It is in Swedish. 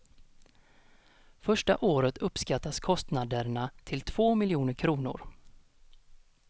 Första året uppskattas kostnaderna till två miljoner kronor.